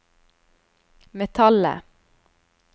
metallet